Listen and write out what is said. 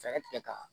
Fɛɛrɛ tigɛ ka